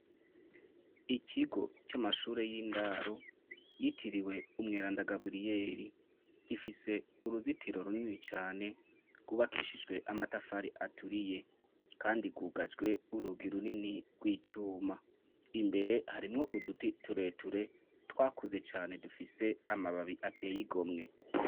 Ikigo c’amashure y’indaro yitiriwe umweranda Gaburiyeri, gifise uruzitiro runini cane rwubakishije amatafari aturiye. kandi rwugajwe urugi runini rw’icuma. Imbere harimw’uduti tureture twakuze cane dufise amababi atey’igomwe.